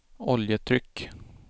oljetryck